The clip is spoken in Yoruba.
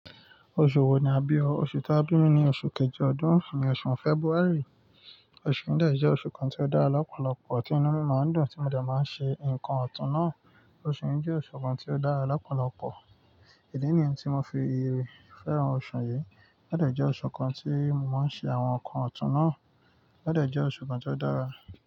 Oṣù wo ni a bí o? Oṣù ta bí mi ni oṣù kejì ọdún, ìní oṣù February. Oṣù díẹ̀ jẹ́ oṣù kan tí ó dára lọ́pọ̀lọpọ̀, tí inú mi máa ń dùn, tí mo dà máa ń ṣe nǹkan ọ̀tún náà. Oṣù yìí jẹ́ oṣù kan tí ó dára lọ́pọ̀lọpọ̀. Ìdí nìyẹn tí mo fi féràn oṣù yìí. Ó dàjẹ́ jẹ́ oṣù kan tí mo máa ń ṣe àwọn nǹkan ọ̀tún náà. Ó dàjẹ́ jẹ́ oṣù kan tí ó dára.